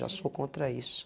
Já sou contra isso.